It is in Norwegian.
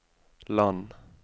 land